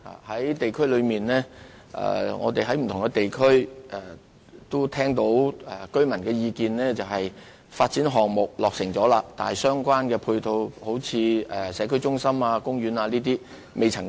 我們聽到不同地區居民的意見，他們表示，發展項目已經落成，但尚未提供相關配套設施，如社區中心和公園等。